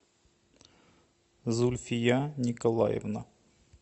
зульфия николаевна